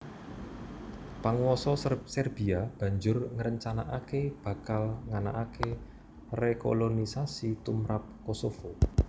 Panguwasa Serbia banjur ngrencanakaké bakal nganakaké rekolonisasi tumrap Kosovo